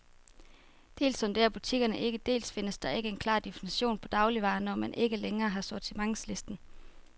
Dels sondrer butikkerne ikke, dels findes der ikke en klar definition på dagligvarer, når man ikke længere har sortimentslisten.